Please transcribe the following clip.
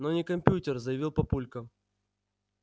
но не компьютер заявил папулька